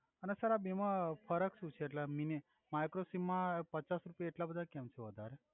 અને સર આ બે મા ફરક સુ છે એટ્લે મિનિ માઈક્રો સિમ મા પચાસ રુપિયા એટ્લા બધા કેમ છે વધારે